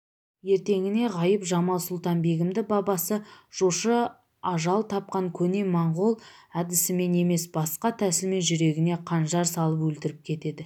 ертеңіне ғайып-жамал-сұлтан-бегімді бабасы жошы ажал тапқан көне монғол әдісімен емес басқа тәсілмен жүрегіне қанжар салып өлтіріп кетеді